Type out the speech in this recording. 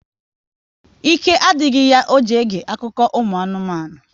Ike adịghị ya ọ ji ege akụkọ ụmụ anụmanụ